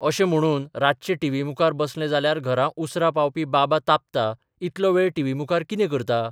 अशें म्हणून रातचें टीव्ही मुखार बसलें जाल्यार घरा उसरा पावपी बाबा तापता इतलो वेळ टीव्ही मुखार कितें करता?